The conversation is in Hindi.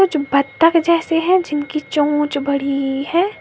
जो बत्तख जैसे हैं जिनकी चोच बड़ी है।